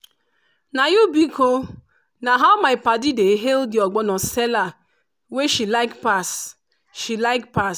na you biko!” na how my padi dey hail the ogbono seller wey she like pass. she like pass.